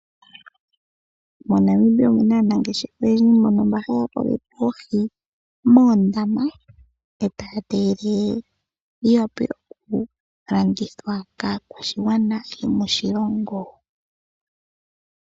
MoNamibia omu na aanangeshefa oyendji mbono mba haya koleke oohi moondama e taya tege dhiwa pe oku ka landithwa kaakwashigwana yomoshilongo.